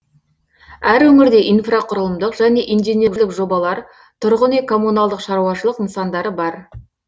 әр өңірде инфрақұрылымдық және инженерлік жобалар тұрғын үй коммуналдық шаруашылық нысандары бар